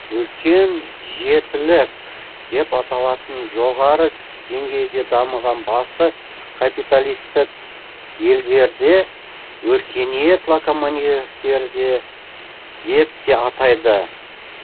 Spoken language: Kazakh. үлкен жетілік деп аталатын жоғары деңгейде дамыған басты капиталистік елдерде өркениет локомативтерде деп те атайды